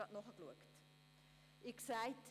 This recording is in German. Das habe ich eben nachgeschaut.